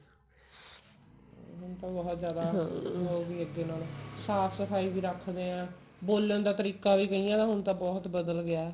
ਹੁਣ ਤਾਂ ਬਹੁਤ ਜਿਆਦਾ ਅੱਗੇ ਨਾਲੋ ਸਾਫ਼ ਸਫਾਈ ਵੀ ਰੱਖਦੇ ਹਾਂ ਬੋਲਣ ਦਾ ਤਰੀਕਾ ਵੀ ਕਈਆਂ ਦਾ ਹੁਣ ਤਾਂ ਬਹੁਤ ਬਦਲ ਗਿਆ